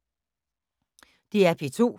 DR P2